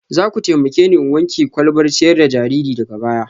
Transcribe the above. Za ku taimake ni in wanke kwalbar ciyar da jariri daga baya